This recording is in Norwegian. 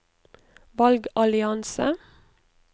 valgallianse